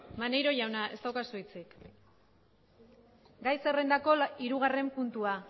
maneiro jauna ez daukazu hitzik gai zerrendako hirugarren puntua